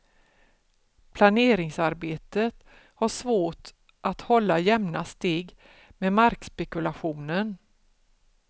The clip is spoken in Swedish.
Planeringsarbetet har svårt att hålla jämna steg med markspekulationen.